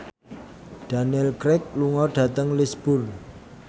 Daniel Craig lunga dhateng Lisburn